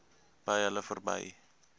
by hulle verby